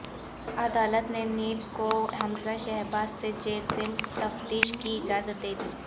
عدالت نے نیب کو حمزہ شہباز سے جیل میں تفتیش کی اجازت دے دی